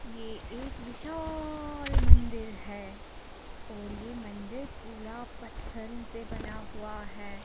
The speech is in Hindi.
ये एक विशाल मंदिर है और ये मंदिर पूरा पत्थरों से बना हुआ है।